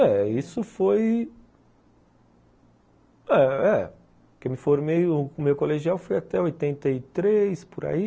É, isso foi... É, é. Porque me formei, o meu colegial foi até oitenta e três, por aí.